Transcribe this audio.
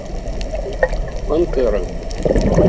пантера